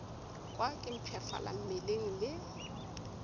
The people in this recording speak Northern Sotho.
kwa ke mpshafala mmeleng le